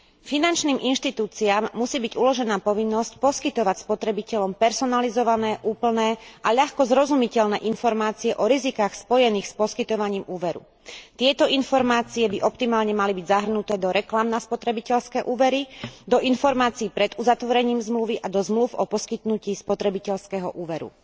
Finančným inštitúciám musí byť uložená povinnosť poskytovať spotrebiteľom personalizované, úplné a ľahko zrozumiteľné informácie o rizikách spojených s poskytovaním úveru. Tieto informácie by optimálne mali byť zahrnuté do reklám na spotrebiteľské úvery, do informácií pred uzatvorením zmluvy a do zmlúv o poskytnutí spotrebiteľského úveru.